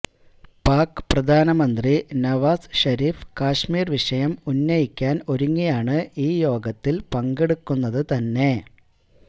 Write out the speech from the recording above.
പാക് പ്രധാനമന്ത്രി നവാസ് ഷരീഫ് കാശ്മീര് വിഷയം ഉന്നയിക്കാന് ഒരുങ്ങിയാണ് ഈ യോഗത്തില് പങ്കെടുക്കുന്നതു തന്നെ